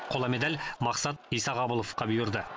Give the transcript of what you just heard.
қола медаль мақсат исағабыловқа бұйырды